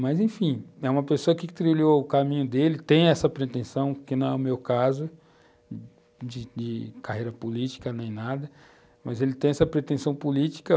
Mas, enfim, é uma pessoa que trilhou o caminho dele, tem essa pretensão, que, no meu caso, de de carreira política nem nada, mas ele tem essa pretensão política.